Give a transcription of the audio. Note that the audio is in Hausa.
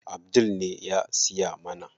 Abdul ne ya siya mana.